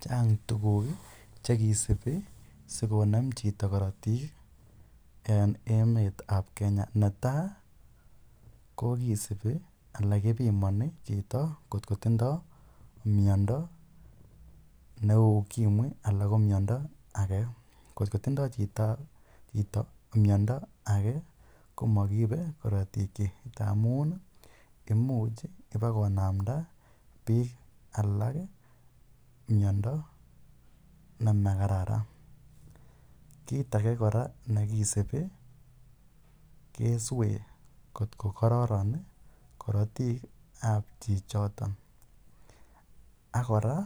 Chang' tuguk che kisupi asikonem chito karatik eng' emet ap Kenya. Netai ko kisupi ala kipimani chito ngot ko tindai miondo nepa ukimwi alan ko miondo ake. Ngot ko tindai chito miondo age ko makiipe karatikchik ndamun imuch ipakonamda piik alak miondo ne ma kararan. Kiit age kora ne kisupi kesween ngot ko kararan karatiik ap chichotok. Ak kora